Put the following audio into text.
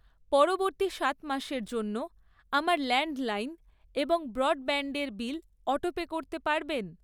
পরবর্তী সাত মাসের জন্য আমার ল্যান্ডলাইন এবং ব্রডব্যান্ডের বিল অটোপে করতে পারবেন?